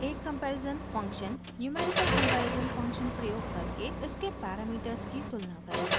एक comparison function numerical comparison function प्रयोग करके इसके पैरामीटर्स की तुलना करेगा